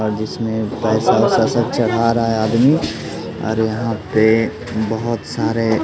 आज जिसमें पैसा पैसा चढ़ा रहा है आदमी और यहां पे बहोत सारे--